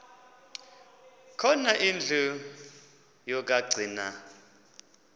khona indlu yokagcina